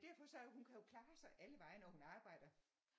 Derfor så hun kan jo klare sig allevegne og hun arbejder